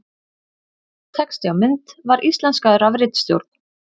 Texti á mynd var íslenskaður af ritstjórn.